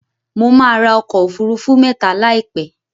Mo máa ra ọkọ̀ òfurufú mẹ́ta láìpẹ́.